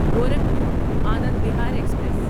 Gorakhpur Anand Vihar express